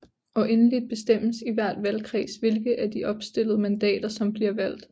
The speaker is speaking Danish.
Og endeligt bestemmes i hver valgkreds hvilke af de opstillede mandater som bliver valgt